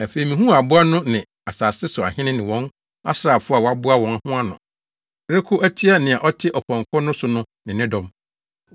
Afei mihuu aboa no ne asase so ahene ne wɔn asraafo a wɔaboa wɔn ho ano rekɔko atia nea ɔte ɔpɔnkɔ no so no ne ne dɔm.